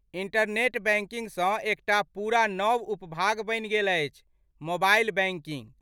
Internet बैंकिंगसँ एकटा पूरा नव उपभाग बनि गेल अछि, मोबाइल बैंकिंग।